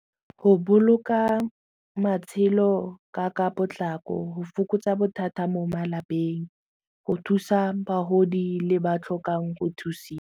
Go boloka matshelo ka ka potlako go fokotsa bothata mo malapeng go thusa bagodi le ba tlhokang go thusiwa.